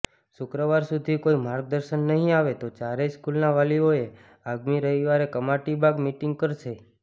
શુક્રવાર સુધી કોઇ માર્ગદર્શન નહીં આવે તો ચારેય સ્કૂલના વાલીઓએ આગામી રવિવારે કમાટીબાગ મીટિંગ કરશે